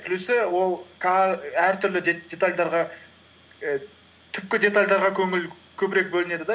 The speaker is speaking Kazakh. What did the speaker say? плюсы ол әртүрлі і түпкі детальдарға көңіл көбірек бөлінеді да